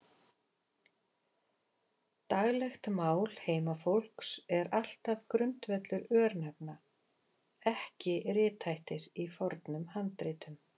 Daglegt mál heimafólks er alltaf grundvöllur örnefna, ekki rithættir í fornum handritum.